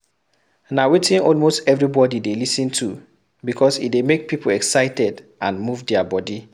Na wetin almost everybody de lis ten to because e de make pipo excited and move their body